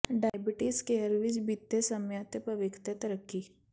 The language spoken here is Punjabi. ਡਾਇਬੀਟੀਜ਼ ਕੇਅਰ ਵਿੱਚ ਬੀਤੇ ਸਮੇਂ ਅਤੇ ਭਵਿੱਖ ਦੇ ਤਰੱਕੀ